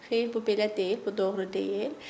Xeyr, bu belə deyil, bu doğru deyil.